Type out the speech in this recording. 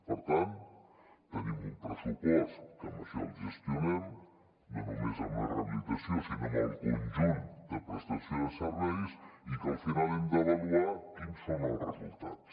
per tant tenim un pressupost que amb això gestionem no només la rehabilitació sinó el conjunt de prestació de serveis i al final hem d’avaluar quins són els resultats